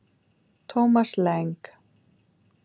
Thomas Lang